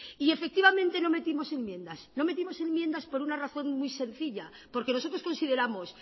y efectivamente no metimos enmiendas no metidos enmiendas por una razón muy sencilla porque nosotros consideramos